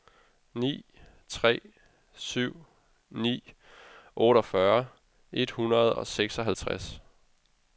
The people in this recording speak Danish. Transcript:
ni tre syv ni otteogfyrre et hundrede og seksoghalvtreds